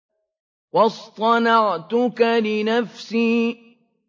وَاصْطَنَعْتُكَ لِنَفْسِي